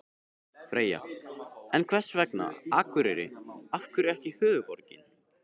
Freyja: En hvers vegna Akureyri, af hverju ekki höfuðborgin?